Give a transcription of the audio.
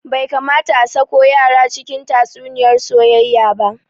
Bai kamata a sako yara cikin tatsuniyar soyayya ba